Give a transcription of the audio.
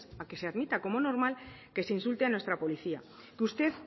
a que se admita como normal que se insulte a nuestra policía que usted